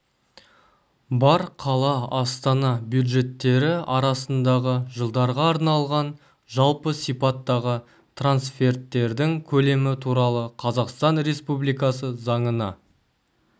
бар қала астана бюджеттері арасындағы жылдарға арналған жалпы сипаттағы трансферттердің көлемі туралы қазақстан республикасы заңына